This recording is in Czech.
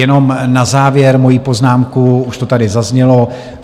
Jenom na závěr moji poznámku, už to tady zaznělo.